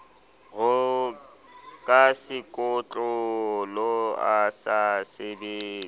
ka sekotlolo a sa sebetse